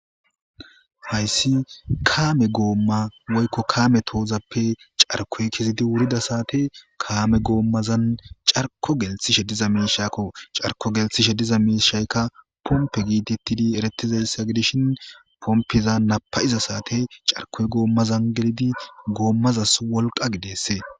Hayssi kaame goomma woykko kaame toozappe carkoy kezidi wurida saate kaame goommazan carko gelthishe diza miishakko. carko gelthishe diza miishaykka pompe giitittidi eretizayssa gidishin pompiza napayiza saate carkoy goomma zan gilidi goommazas wolqqa gideese.